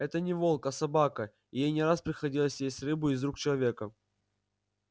это не волк а собака и ей не раз приходилось есть рыбу из рук человека